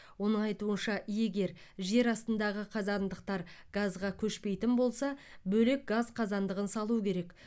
оның айтуынша егер жер астындағы қазандықтар газға көшпейтін болса бөлек газ қазандығын салу керек